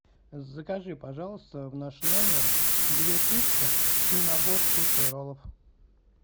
закажи пожалуйста в наш номер две пиццы и набор суши и роллов